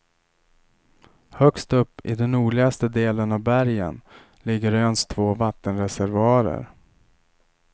Högst upp i den nordligaste delen av bergen ligger öns två vattenreservoarer.